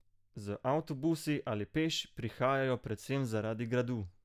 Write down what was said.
Z avtobusi ali peš prihajajo predvsem zaradi Gradu!